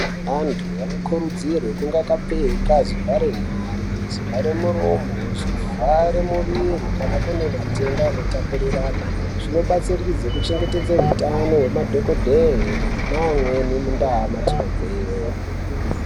Antu anokurudzirwe kunge akapfeka zvivharenyare zvivharamuromo, zvivharemuviri kana kune matenda anotapuriranwa. Zvinobatsiridze kuchengetedze eutano hwemadhokodhee neamweni muntaa matinobveyo.